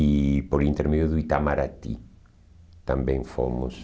E por intermédio do Itamaraty também fomos.